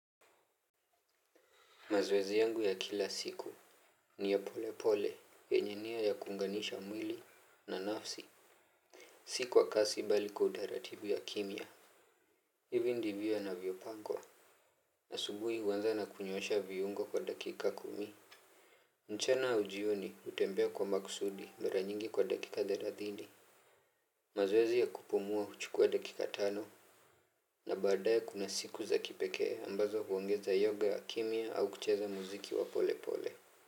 Mazwezi yangu ya kila siku. Ni ya pole pole. Yenye nia ya kuunganisha mwili na nafsi. Si kwa kasi bali kwa utaratibu ya kimya. Hivi ndivyo yanavyopangwa. Asubuhi huanza na kunyoosha viungo kwa dakika kumi. Mchana au jioni, hutembea kwa makusudi mara nyingi kwa dakika thelathini. Mazoezi ya kupumua huchukua dakika tano. Na baadae kuna siku za kipekee ambazo huongeza yoga kimya au kucheza muziki wa pole pole.